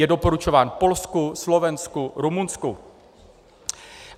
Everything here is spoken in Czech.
Je doporučován Polsku, Slovensku, Rumunsku.